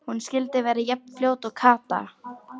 Hún skyldi verða jafn fljót og Kata!